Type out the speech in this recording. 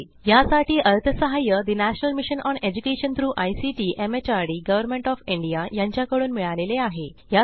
यासाठी अर्थसहाय्य national mission on education through ICT MHRD government of India यांच्याकडून मिळालेले आहे